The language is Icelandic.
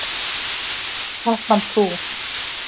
Katmandú